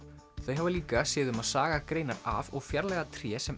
þau hafa líka séð um að saga greinar af og fjarlægja tré sem